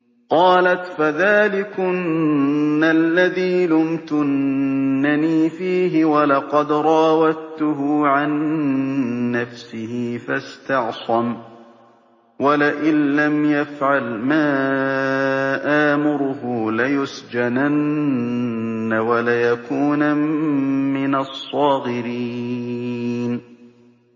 قَالَتْ فَذَٰلِكُنَّ الَّذِي لُمْتُنَّنِي فِيهِ ۖ وَلَقَدْ رَاوَدتُّهُ عَن نَّفْسِهِ فَاسْتَعْصَمَ ۖ وَلَئِن لَّمْ يَفْعَلْ مَا آمُرُهُ لَيُسْجَنَنَّ وَلَيَكُونًا مِّنَ الصَّاغِرِينَ